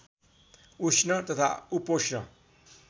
उष्ण तथा उपोष्ण